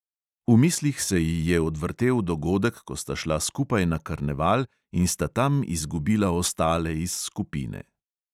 V mislih se ji je odvrtel dogodek, ko sta šla skupaj na karneval in sta tam izgubila ostale iz skupine.